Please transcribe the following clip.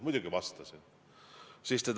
Muidugi vastasin!